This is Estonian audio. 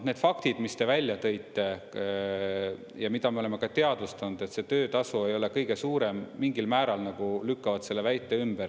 Need faktid, mis te välja tõite ja mida me oleme ka teadvustanud, et see töötasu ei ole kõige suurem, mingil määral nagu lükkavad selle väite ümber.